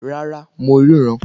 Rárá, mo ríran